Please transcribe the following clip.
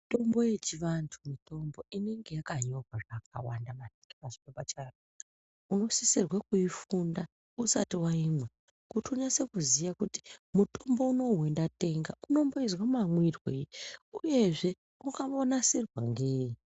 Mitombo yechivantu mitombo inenge yakanyorwa zvakawanda maningi pachophepa chayo unosisirwe kuifunda usati waimwa kuti unyase kuziya kuti mutombo unowu wandatenga unomboizwe mamwirwei uyezve wakambonasirwa ngei.